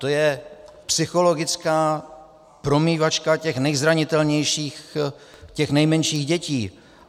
To je psychologická promývačka těch nejzranitelnějších, těch nejmenších dětí.